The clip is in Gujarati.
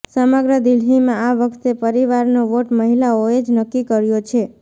સમગ્ર દિલ્હીમાં આ વખતે પરિવારનો વોટ મહિલાઓએ જ નક્કી કર્યો છે